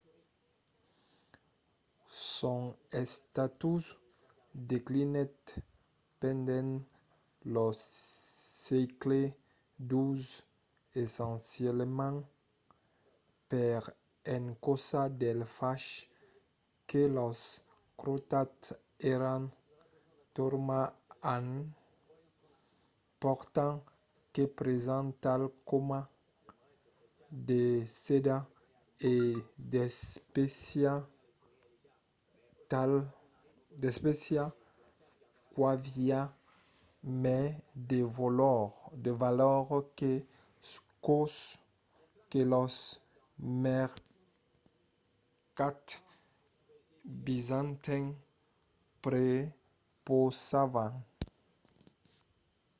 son estatus declinèt pendent lo sègle xii essencialament per encausa del fach que los crosats èran tornats en portant de presents tals coma de sedas e d’espècias qu'avián mai de valor que çò que los mercats bizantins prepausavan